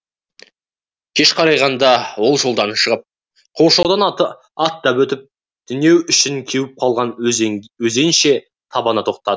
кеш қарайғанда ол жолдан шығып қоршаудан аттап өтіп түнеу үшін кеуіп қалған өзенше табанына тоқтады